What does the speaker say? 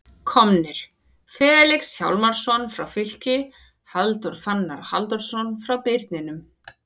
Komnir: Felix Hjálmarsson frá Fylki Halldór Fannar Halldórsson frá Birninum